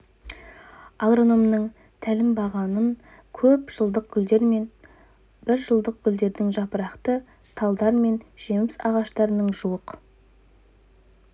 агрономның тәлімбағынан көп жылдық гүлдер мен бір жылдық гүлдердің жапырақты талдар мен жеміс ағаштарының жуық